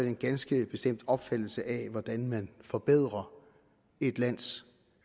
en ganske bestemt opfattelse af hvordan man forbedrer et lands